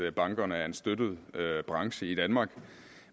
at bankerne er en støttet branche i danmark